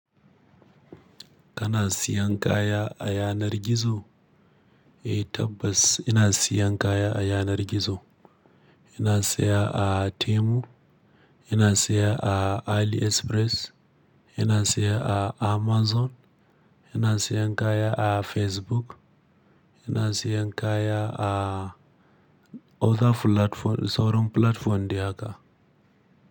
Kana siyan kaya a yanar gizo? Eh tabbas ina siyan kaya a yanar gizo. Ina saya a Temu, ina saya a AliExpress, ina saya a Amazon, ina siyan kaya a Facebook, ina siyan kaya a other platform sauran platform dai haka.